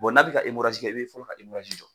n'a be ka i be fɔlɔ ka jɔ.